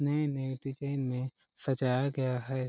नये - नये टिफिन में सजाया गया है।